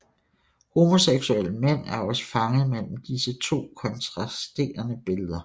Homoseksuelle mænd er også fanget mellem disse to kontrasterende billeder